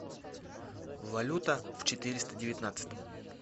валюта в четыреста девятнадцатом